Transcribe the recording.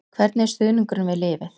Hvernig er stuðningurinn við liðið?